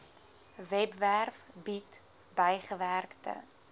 webwerf bied bygewerkte